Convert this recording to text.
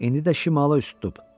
İndi də şimala üz tutub.